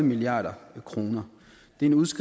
nikolaj villumsen